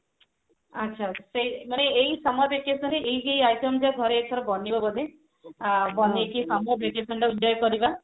ଆଚ୍ଛା ସେଇ ମାନେ ଏଇ summer vacation ରେ ଏଇ ଏଇ item ଘରେ ଏଥର ବନେଇବ ବୋଧେ ଆ ବନେଇକି summer vacation ଟାକୁ enjoy କରିବା